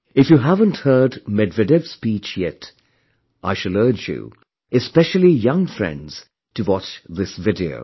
If you haven't heard Medvedev's speech yet, I shall urge you, especially young friends to watch this video